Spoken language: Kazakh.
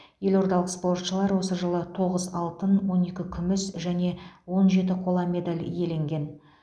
елордалық спортшылар осы жылы тоғыз алтын он екі күміс және он жеті қола медаль иеленген